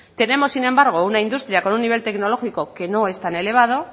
tenemos sin embargo una industria con un nivel tecnológico que no es tan elevado